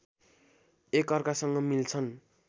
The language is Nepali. एकअर्कासँग मिल्छन्